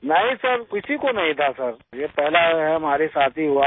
नहीं सिर किसी को नहीं था सिर ये पहला हमारे साथ ही हुआ है